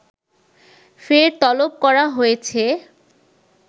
ফের তলব করা হয়েছে